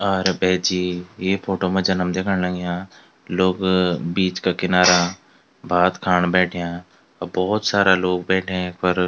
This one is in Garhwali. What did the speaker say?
अ रे भैजी ये फोटो मा जन हम दिखण लग्याँ लोग बीच का किनारा भात खाण बैठ्याँ अ भौत सारा लोग बैठ्याँ यख्फर।